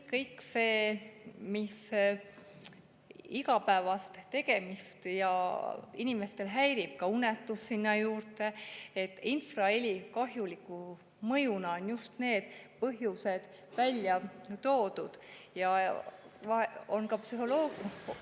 Kõik see, mis inimeste igapäevaseid tegemisi häirib, ka unetus sinna juurde – infraheli kahjuliku mõjuna on just need välja toodud.